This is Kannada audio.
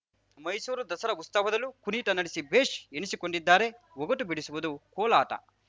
ಮೈಸೂರು ದಸರಾ ಉತ್ಸವದಲ್ಲೂ ಕುಣಿತ ನಡೆಸಿ ಭೇಷ್‌ ಎನಿಸಿಕೊಂಡಿದ್ದಾರೆ ಒಗಟು ಬಿಡಿಸುವುದು ಕೋಲಾಟ